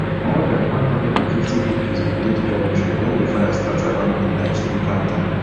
more dan one hundred and fifty pupils bin dey di dormitory wen di fire start around midnight local time